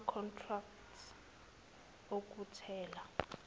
yama contracts okuthela